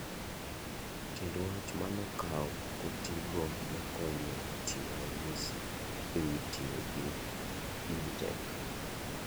Tiend wach manokau kotii go nokonyo chiwo ranyisi e wi tiyo gi EdTech